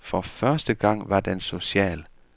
For første gang var den social.